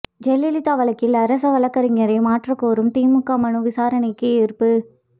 ஜெயலலிதா வழக்கில் அரசவழக்கறிஞரை மாற்றக் கோரும் திமுக மனு விசாரணைக்கு ஏற்பு